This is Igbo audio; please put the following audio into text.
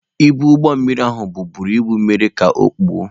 Ibu ụgbọ mmiri ahụ bu buru ibu mere ka okpuo.